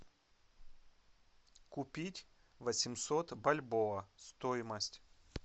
купить восемьсот бальбоа стоимость